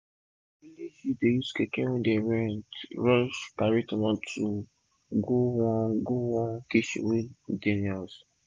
our village youth use keke wey dem rent take rush carry tomato go one go one kitchen wey dey near us